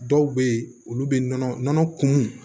Dɔw bɛ yen olu bɛ nɔnɔ nɔnɔ kunun